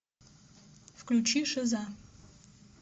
включи шиза